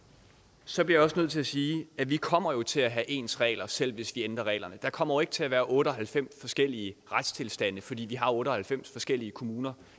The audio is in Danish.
så bliver jeg også nødt til at sige at vi kommer til at have ens regler selv hvis vi ændrer reglerne der kommer jo ikke til at være otte og halvfems forskellige retstilstande fordi vi har otte og halvfems forskellige kommuner